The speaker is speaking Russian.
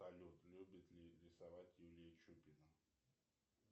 салют любит ли рисовать юлия чупина